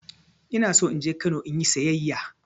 Ina so in je Kano in yi sayayya.